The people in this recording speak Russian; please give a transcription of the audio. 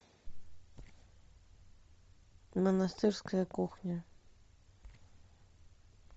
монастырская кухня